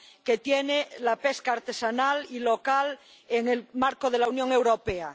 que tiene la pesca artesanal y local en el marco de la Unión Europea.